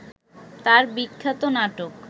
তার বিখ্যাত নাটক